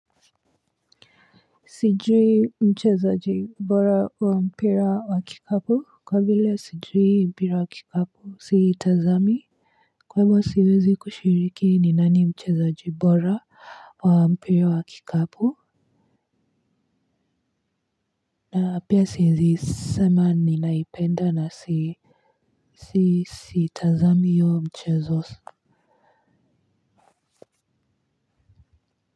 Sijui mchezaji bora wa mpira wa kikapu kwa vile sijui mpira wa kikapu si tazami wala siwezi kushiriki ni nani mchezaji bora wa mpira wa kikapu na pia siwezi sema ninaipenda na siu tazami huo mchezo.